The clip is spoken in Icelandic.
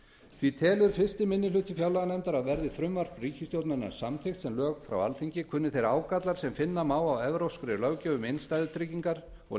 því telur fyrsti minni hluti fjárlaganefndar að verði frumvarp ríkisstjórnarinnar samþykkt sem lög frá alþingi kunni þeir ágallar sem finna má á evrópskri löggjöf um innstæðutryggingar og